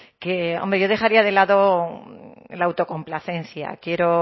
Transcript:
que hombre yo dejaría de lado la autocomplacencia quiero